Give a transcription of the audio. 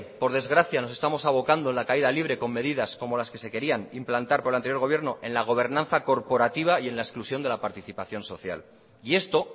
por desgracia nos estamos avocando en la caída libre con medidas como las que se querían implantar con el anterior gobierno en la gobernanza corporativa y en la exclusión de la participación social y esto